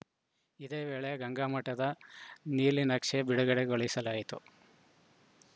ಇದೇ ವೇಳೆ ಗಂಗಾಮಠದ ನೀಲನಕ್ಷೆ ಬಿಡುಗಡೆಗೊಳಿಸಲಾಯಿತು